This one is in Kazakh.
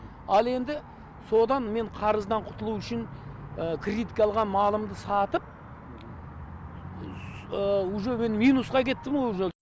ал енді содан мен қарыздан құтылу үшін кредитке алған малымды сатып уже мен минусқа кеттім ғой уже